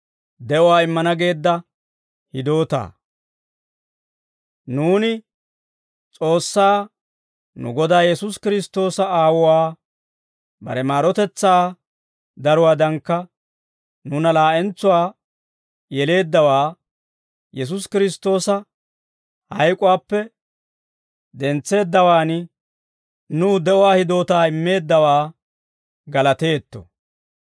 Nuuni S'oossaa, nu Godaa Yesuusi Kiristtoosa Aawuwaa, bare maarotetsaa daruwaadankka nuuna laa'entsuwaa yeleeddawaa, Yesuusi Kiristtoosa hayk'uwaappe dentseeddawaan nuw de'uwaa hidootaa immeeddawaa galateetto.